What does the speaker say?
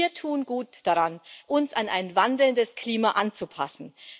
Wir tun gut daran, uns an ein wandelndes Klima anzupassen.